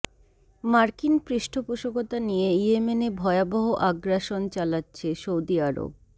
মার্কিন পৃষ্ঠপোষকতা নিয়ে ইয়েমেনে ভয়াবহ আগ্রাসন চালাচ্ছে সৌদি আরব